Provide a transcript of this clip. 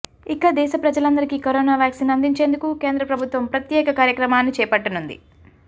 ఇక దేశ ప్రజలందరికీ కరోనా వ్యాక్సిన్ అందించేందుకు కేంద్ర ప్రభుత్వం ప్రత్యేక కార్యక్రమాన్ని చేపట్టనుంది